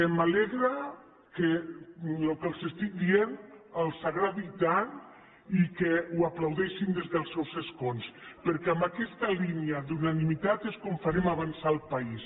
m’alegra que el que els estic dient els agradi tant i que ho aplaudeixin des dels seus escons perquè en aquesta línia d’unanimitat és com farem avançar el país